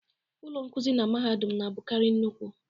Ụlọ nkuzi na mahadum na-abụkarị nnukwu.